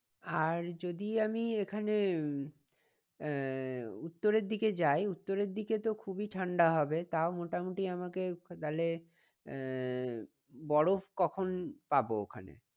আর যদি আমি এখানে আহ উত্তরের দিকে যাই উত্তরের দিকে তো খুবই ঠান্ডা হবে। তাও মোটামুটি আমাকে তাহলে আহ বরফ কখন পাবো ওখানে?